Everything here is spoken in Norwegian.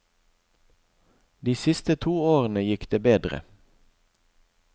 De siste to årene gikk det bedre.